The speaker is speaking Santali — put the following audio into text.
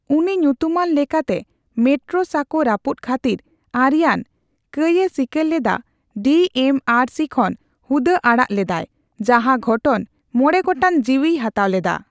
ᱩᱱᱤ ᱧᱩᱛᱩᱢᱟᱱ ᱞᱮᱠᱟᱛᱮ ᱢᱮᱴᱨᱳ ᱥᱟᱠᱚ ᱨᱟᱹᱯᱩᱫ ᱠᱷᱟᱹᱛᱤᱨ ᱟᱹᱨᱤᱭᱟᱱ ᱠᱟᱹᱭᱮ ᱥᱤᱠᱟᱨ ᱞᱮᱫᱟ ᱰᱤ ᱮᱢ ᱟᱨ ᱥᱤ ᱠᱷᱚᱱ ᱦᱩᱫᱟᱹ ᱟᱲᱟᱜ ᱞᱮᱫᱟᱭ, ᱡᱟᱦᱟ ᱜᱷᱚᱴᱚᱱ ᱢᱚᱬᱮ ᱜᱚᱴᱟᱝ ᱡᱤᱣᱤᱭ ᱦᱟᱛᱟᱣ ᱞᱮᱫᱟ᱾